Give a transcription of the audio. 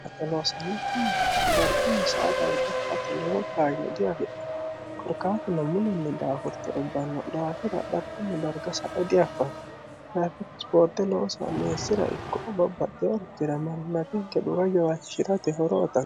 axeloosannokku mannooti dargunmi saa dargasa ati lowo kaanyo diafi'ne korkaatino mulinni daafurte ubbanno dhaafira dhargunmi darga sae diaffanni daafiti boorte loosa meessira ikko ubabbaxxe hortira manina tinke dhuga yowaachishi'rate horooton